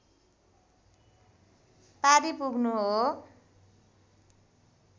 पारी पुग्नु हो